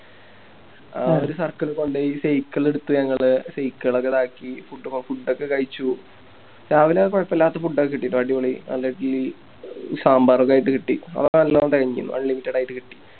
ആ ഒരു Circle കൊണ്ടോയി Cycle ഒക്കെ എടുത്തു ഞങ്ങള് Cycle ഒക്കെതാക്കി Food ഒക്കെ കയിച്ചു രാവിലപ്പോ കൊയപ്പില്ലാതെ Food ഒക്കെ കിട്ടിട്ടോ അടിപൊളി നല്ല ഇഡ്ഡലി സാമ്പാർ ഒക്കെ ആയിട്ട് കിട്ടി Unlimited ആയിട്ട് കിട്ടി